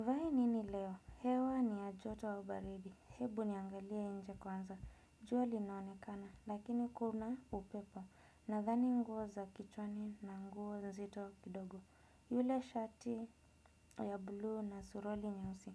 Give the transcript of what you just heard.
Nivae nini leo, hewa ni ya joto wa baridi, hebu niangalie nje kwanza, jua linaonekana, lakini kuna upepo, nadhani nguo za kichwani na nguo nzito kidogo. Yule shati ya bluu na suruali nyeusi,